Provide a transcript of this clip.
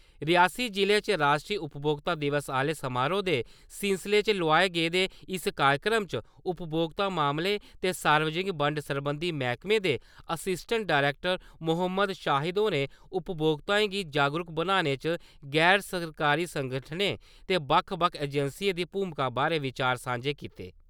रियासी जि'ले च राश्ट्री उपभोक्ता दिवस आह्ले समोरोह दे सिलसिले च लोआए गेदे इस कार्यक्रम च उपभोक्ता मामलें ते सार्वजनिक बंड सरबंधी मैह्कमे दे असिस्टैंट डरैक्टर मोहम्मद शाहिद होरें उपभोक्ताएं गी जागरूक बनाने च गैर-सरकारी संगठनें ते बक्ख-बक्ख एजेंसियें दी भूमिका बारै विचार सांझे कीते ।